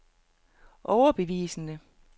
overbevisende